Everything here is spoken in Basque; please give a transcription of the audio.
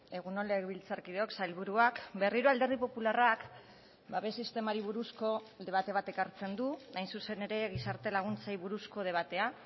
egun on legebiltzarkideok sailburuak berriro alderdi popularrak babes sistemari buruzko debate bat ekartzen du hain zuzen ere gizarte laguntzei buruzko debatea